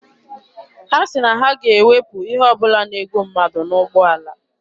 Ha sị na ha ga-ewepụ ihe ọ bụla na-egbu mmadụ n'ụgbọala.